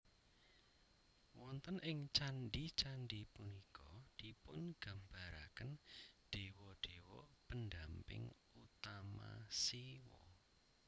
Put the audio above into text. Wonten ing candhi candhi punika dipungambaraken dewa dewa pendamping utama Siwa